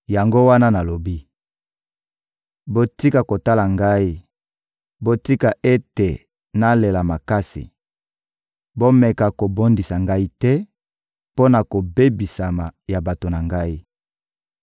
Yango wana nalobaki: «Botika kotala Ngai, botika ete nalela makasi! Bomeka kobondisa Ngai te mpo na kobebisama ya bato na Ngai!»